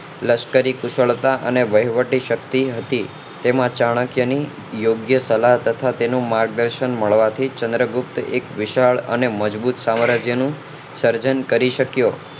લશ્કરી કુશળતા અને વહીવટી શક્તિ હતી તેના ચાણક્ય ની યોગ્ગ્યા સલાહ તથા તેનું માર્ગદર્શન મળવાથી ચન્દ્રપુપ્ત એક વિશાળ અને મજબૂત સામ્રાજ્ય નું સર્જન કરી શક્યો